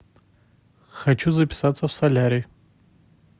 хочу записаться в солярий